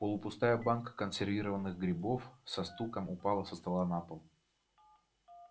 полупустая банка консервированных грибов со стуком упала со стола на пол